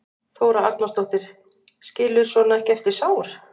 Þóra Arnórsdóttir: Skilur svona ekki eftir sár?